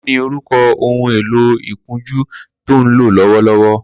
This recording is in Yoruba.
Kini órùkọ̀ óhùn éló ikùnjù tó n ló lọwọ?